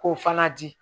K'o fana di